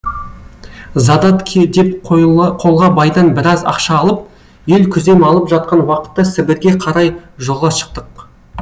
задатке деп қолға байдан біраз ақша алып ел күзем алып жатқан уақытта сібірге қарай жолға шықтық